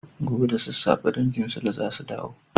Gobe ​​da sassafe dangin sule zasu dawo